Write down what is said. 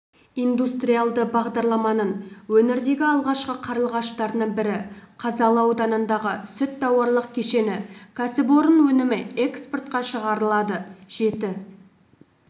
индустриалды бағдарламаның өңірдегі алғашқы қарлығаштарының бірі қазалы ауданындағы сүт тауарлық кешені кәсіпорын өнімі экспортқа шығарылады жеті